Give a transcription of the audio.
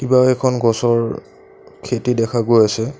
কিবা এখন গছৰ খেতি দেখা গৈ আছে।